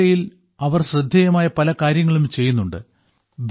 ഈ മേഖലയിൽ അവർ ശ്രദ്ധേയമായ പല കാര്യങ്ങളും ചെയ്യുന്നുണ്ട്